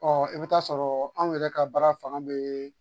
Ɔ i bɛ t'a sɔrɔ anw yɛrɛ ka baara fanga bɛ